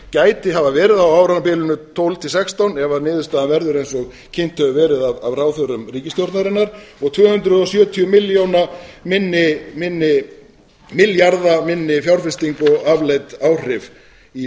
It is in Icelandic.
gæti hafa verið á árabilinu tvö þúsund og tólf til tvö þúsund og sextán ef niðurstaðan verður eins og kynnt hefur verið af ráðherrum ríkisstjórnarinnar og tvö hundruð sjötíu milljarða minni fjárfesting á afleidd áhrif í